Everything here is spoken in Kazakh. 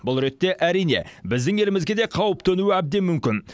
бұл ретте әрине біздің елімізге де қауіп төнуі әбден мүмкін